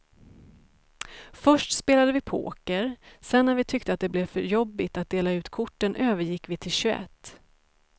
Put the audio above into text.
Först spelade vi poker, sedan när vi tyckte att det blev för jobbigt att dela ut korten övergick vi till tjugoett.